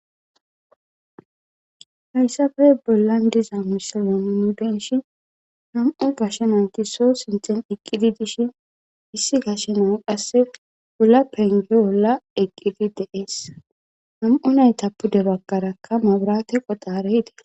Hayssafe bollan diza misiloni nu denshi nam7u bashenanti so sinthen eqqidi dishin issi gashenan qasse ulla penge wolla eqqidi deeesa nam7u nayta pude bagkarakka maburate qodaare hidi.